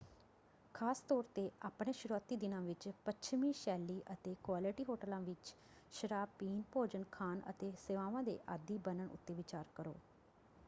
ਖ਼ਾਸ ਤੌਰ 'ਤੇ ਆਪਣੇ ਸ਼ੁਰੂਆਤੀ ਦਿਨਾਂ ਵਿੱਚ ਪੱਛਮੀ-ਸ਼ੈਲੀ ਅਤੇ -ਕੁਆਲਿਟੀ ਹੋਟਲਾਂ ਵਿੱਚ ਸ਼ਰਾਬ ਪੀਣ ਭੋਜਨ ਖਾਣ ਅਤੇ ਸੇਵਾਵਾਂ ਦੇ ਆਦੀ ਬਣਨ ਉੱਤੇ ਵਿਚਾਰ ਕਰੋ।